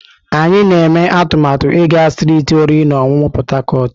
Anyị na-eme atụmatụ ịga strịtị oriri na ọṅụṅụ Port Harcourt.